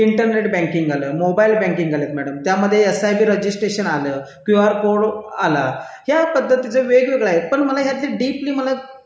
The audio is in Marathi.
मोबाईल बँकिंग आलेत मॅडम त्यामध्ये एसआयपी रजिस्ट्रेशन आलं किंवा कोड आला त्या पद्धतीचा वेगवेगळ्या आहे पण मला डीपी मला